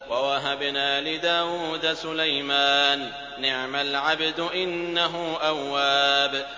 وَوَهَبْنَا لِدَاوُودَ سُلَيْمَانَ ۚ نِعْمَ الْعَبْدُ ۖ إِنَّهُ أَوَّابٌ